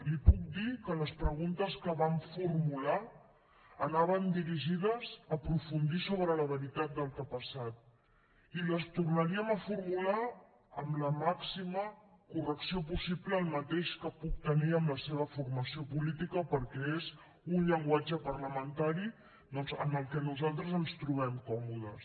li puc dir que les preguntes que vam formular anaven dirigides a aprofundir sobre la veritat del que ha passat i les tornaríem a formular amb la màxima correcció possible el mateix que poc tenir amb la seva formació política perquè és un llenguatge parlamentari doncs en què nosaltres ens trobem còmodes